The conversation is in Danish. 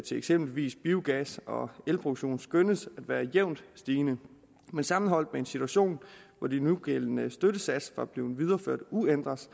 til eksempelvis biogas og elproduktion skønnes at være jævnt stigende men sammenholdt med en situation hvor de nugældende støttesatser var blevet videreført uændret